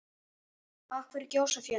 Af hverju gjósa fjöll?